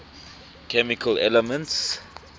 chemical elements